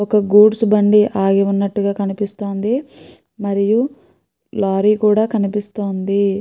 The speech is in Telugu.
ఒక గూడ్స్ బండి ఆగి ఉన్నట్టుగా కనిపిస్తుంది. మరియు లారీ కూడా కనిపిస్తోంది.